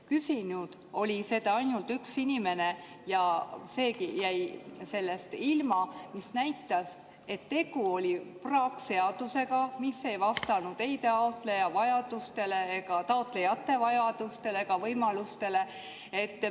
Küsinud on seda ainult üks inimene ja temagi jäi sellest ilma, mis näitab, et tegu oli praakseadusega, mis ei vastanud ei taotlejate vajadustele ega võimalustele.